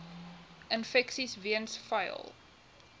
infeksies weens vuil